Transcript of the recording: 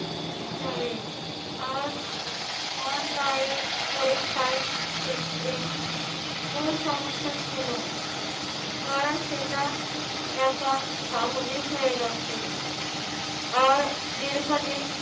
যাবেন। আর online পরীক্ষায় ক্ষেত্রে মূল সমস্যা ছিল কারণ সেটা এখন স্বাভাবিক হয়ে গেছে। আর দীর্ঘদিন